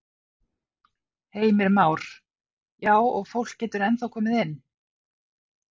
Heimir Már: Já og fólk getur ennþá komið inn?